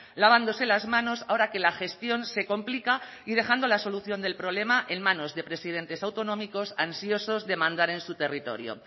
lavándose las manos ahora que la gestión se complica y dejando la solución del problema en manos de presidentes autonómicos ansiosos de mandar en su territorio